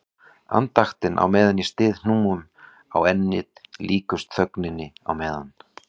Andaktin á meðan ég styð hnúum á ennið líkust þögninni á meðan